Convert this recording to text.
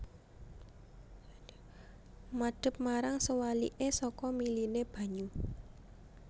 Madep marang sewaliké saka miliné banyu